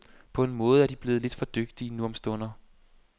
På en måde er de blevet lidt for dygtige nu om stunder.